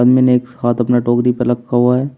मैंने एक हाथ अपना टोकरी पर रखा हुआ है।